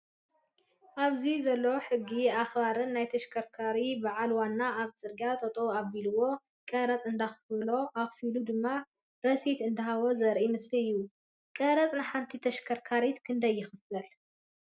ኣብዚ ዘሎ ሕጊ ኣክባርን ናይ ተሽከርካሪ ባዓል ዋናን ኣብ ፅርግያ ጠጠው ኣቢልዎ ቀረፅ እንዳኣክፈሎ ኣክፊሉ ድማ ረሲት እንዳሃቦ ዘርኢ ምስሊ እዩ። ቀረፅ ንሓንቲ ተሽከርካር ክንዳይ ይክፈል ?